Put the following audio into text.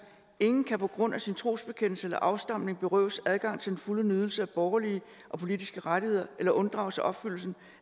ingen kan på grund af sin trosbekendelse eller afstamning berøves adgang til den fulde nydelse af borgerlige og politiske rettigheder eller unddrage sig opfyldelsen